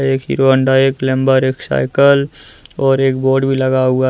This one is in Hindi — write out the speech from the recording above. एक हीरो होंडा एक ग्लैमर एक साइकल और एक बोर्ड भी लगा हुआ--